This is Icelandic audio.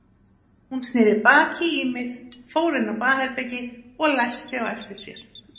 Hún sneri baki í mig, fór inn á baðherbergi og læsti á eftir sér.